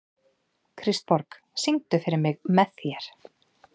Kristborg, syngdu fyrir mig „Með þér“.